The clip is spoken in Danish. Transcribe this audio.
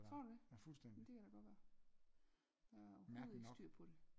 Tror du det jamen det kan da godt være jeg har overhovedet ikke styr på det